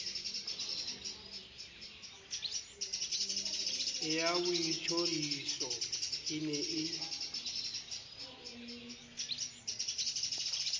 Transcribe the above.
ya boitjhoriso e ne e